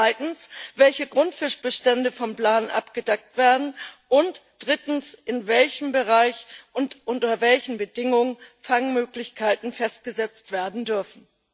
Zweitens, welche Grundfischbestände vom Plan abgedeckt werden, und drittens, in welchem Bereich und unter welchen Bedingungen Fangmöglichkeiten festgesetzt werden dürfen.